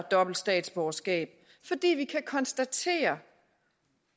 dobbelt statsborgerskab fordi vi kan konstatere